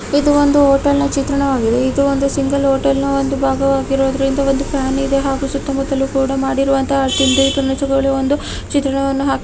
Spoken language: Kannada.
ಇದು ಒಂದು ಹೋಟೆಲ್ನ ಚಿತ್ರಣವಾಗಿದೆ. ಇದು ಒಂದು ಸಿಂಗಲ್ ಹೋಟೆಲ್ನ ಒಂದು ಭಾಗವಾಗಿರುವುದರಿಂದ ಮಾಡಿರುವ ಒಂದು ತಿಂಡಿ ತಿನಿಸುಗಳನ್ನು ಚಿತ್ರಣವನ್ನು ಹಾಕಿ--